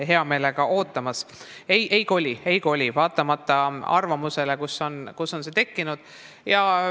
Nii et vastus on ei: ministeerium ei koli, vaatamata arvamusele, mis on tekkinud.